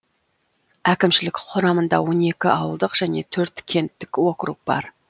әкімшілік құрамында он екі ауылдық және төрт кенттік округ бар